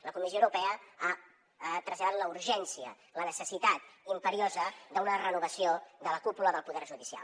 la comissió europea ha traslladat la urgència la necessitat imperiosa d’una renovació de la cúpula del poder judicial